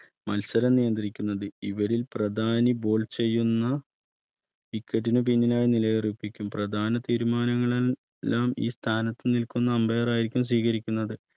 മത്സരം നിയന്ത്രിക്കുന്നത് ഇവരിൽ പ്രധാനി Bowl ചെയ്യുന്ന wicket ന് പിന്നിലായി നിലയിറപ്പിക്കുന്ന പ്രധാന തീരുമാനങ്ങളെല്ലാം ഈ സ്ഥാനത്ത് നിൽക്കുന്ന Ambire ർ ആയിരിക്കും സ്വീകരിക്കുന്നത്